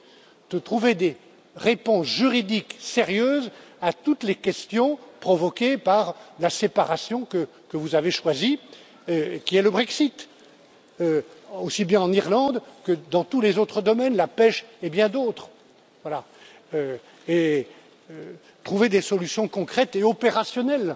Il faut trouver des réponses juridiques sérieuses à toutes les questions provoquées par la séparation que vous avez choisie, qui est le Brexit, aussi bien en Irlande que dans tous les autres domaines, la pêche et bien d'autres, voilà et trouver des solutions concrètes et opérationnelles.